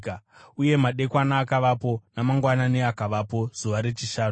Uye madekwana akavapo, namangwanani akavapo, zuva rechishanu.